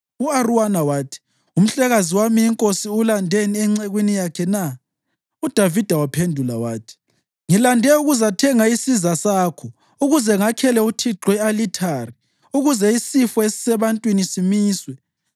U-Arawuna wathi, “Umhlekazi wami inkosi ulandeni encekwini yakhe na?” UDavida waphendula wathi, “Ngilande ukuzathenga isiza sakho, ukuze ngakhele uThixo i-alithari, ukuze isifo esisebantwini simiswe.”